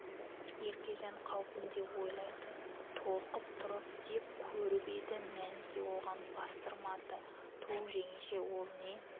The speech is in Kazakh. еркежан қаупін де ойлайды толқып тұрып деп көріп еді мәніке оған бастырмады түу жеңеше ол не